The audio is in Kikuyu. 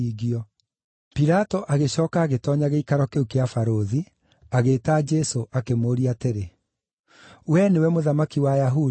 Pilato agĩcooka agĩtoonya gĩikaro kĩu kĩa Barũthi, agĩĩta Jesũ akĩmũũria atĩrĩ, “Wee nĩwe mũthamaki wa Ayahudi?”